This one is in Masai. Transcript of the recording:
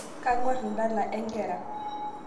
Kang'war ndala enkera